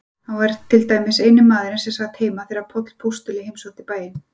Hann var til dæmis eini maðurinn sem sat heima þegar Páll postuli heimsótti bæinn.